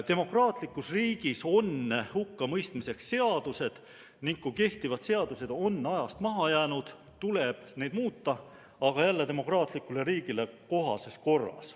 Demokraatlikus riigis on hukkamõistmiseks seadused ning kui kehtivad seadused on ajast maha jäänud, tuleb neid muuta, aga demokraatlikule riigile kohases korras.